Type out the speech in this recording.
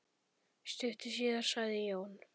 Stuttu síðar sagði Jón